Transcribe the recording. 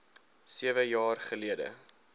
sewe jaar gelede